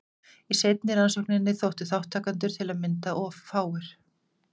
Í seinni rannsókninni þóttu þátttakendur til að mynda of fáir.